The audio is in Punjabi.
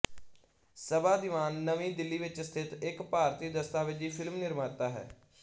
ਸਬਾ ਦੀਵਾਨ ਨਵੀਂ ਦਿੱਲੀ ਵਿੱਚ ਸਥਿਤ ਇੱਕ ਭਾਰਤੀ ਦਸਤਾਵੇਜ਼ੀ ਫ਼ਿਲਮ ਨਿਰਮਾਤਾ ਹੈ